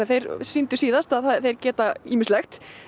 þeir sýndu síðast að þeir geta ýmislegt